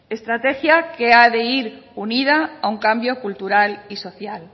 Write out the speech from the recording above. estrategia que ha de ir unida a un cambio cultural y social